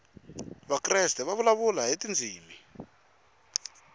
vakreste va vulavula hi tindzimi